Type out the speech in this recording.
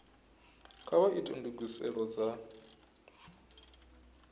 kha vha ite ndugiselo dza